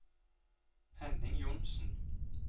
Henning Johnsen